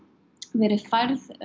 verið færð